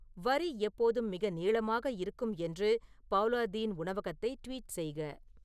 வரி எப்போதும் மிக நீளமாக இருக்கும் என்று பவுலா தீன் உணவகத்தை ட்வீட் செய்க